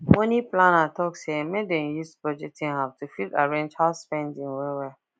money planner talk say make dem use budgeting app to fit arrange house spending wellwell